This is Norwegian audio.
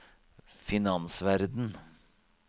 finansverden